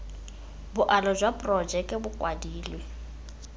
boalo jwa porojeke bo kwadilwe